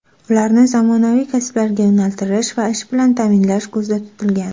Ularni zamonaviy kasblarga yo‘naltirish va ish bilan ta’minlash ko‘zda tutilgan.